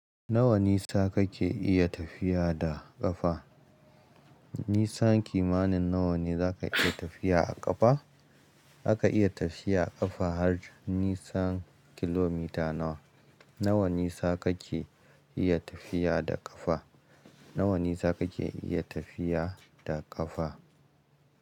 Nawa nisa kake iya tafiya da ƙafa? Nisan kimanin nawa ne zaka iya tafiya a ƙafa? Aka iya tafiya a ƙafa har nisan kilomita nawa. Nawa nisa kake iya tafiya da ƙafa? Nawa nisa kake iya tafiya da ƙafa?